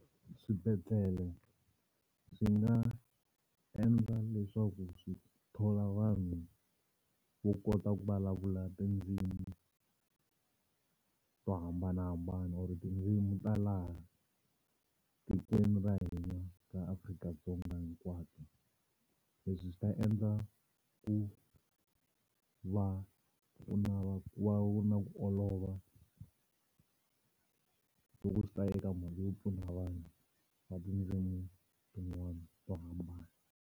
Swibedhlele swi nga endla leswaku swi thola vanhu vo kota ku vulavula tindzimi to hambanahambana or tindzimi ta laha tikweni ra hina ra Afrika-Dzonga hinkwato. Leswi swi ta endla ku va ku na ku olova loko swi ta eka mali yo pfuna vanhu va tindzimi tin'wana to hambana.